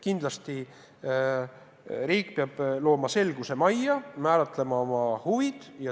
Kindlasti riik peab selguse majja tooma, määratlema oma huvid.